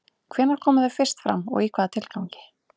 Hvenær komu þau fyrst fram og í hvaða tilgangi?